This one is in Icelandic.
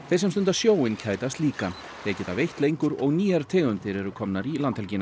sem stunda sjóinn kætast líka þeir geta veitt lengur og nýjar tegundir eru komnar í landhelgina